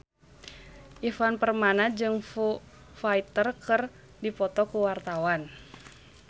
Ivan Permana jeung Foo Fighter keur dipoto ku wartawan